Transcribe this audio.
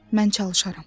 Mən çalışaram.